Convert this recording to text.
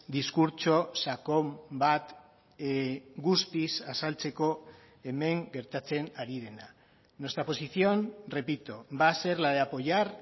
diskurtso sakon bat guztiz azaltzeko hemen gertatzen ari dena nuestra posición repito va a ser la de apoyar